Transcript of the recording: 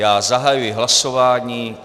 Já zahajuji hlasování.